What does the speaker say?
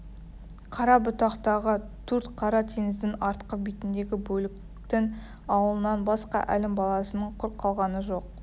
қарабұтақтағы төртқара теңіздің артқы бетіндегі бөлектің ауылынан басқа әлім баласының құр қалғаны жоқ